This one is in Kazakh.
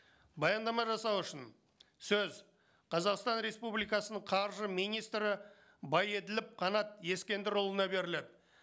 баяндама жасау үшін сөз қазақстан республикасының қаржы министрі байеділов қанат ескендірұлына беріледі